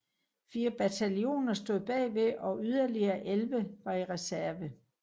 Fire bataljoner stod bagved og yderligere 11 var i reserve